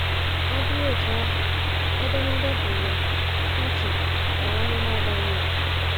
Ọ bụrụ otú ahụ, edemede bụ́ Ṅaa Ntị N'amụma Daniel!